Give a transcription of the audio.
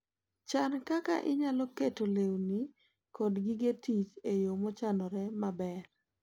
Chan kaka inyalo keto lewni kod gige tich e yo mochanore maber.